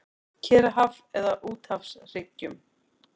Kyrrahaf eða á úthafshryggjum.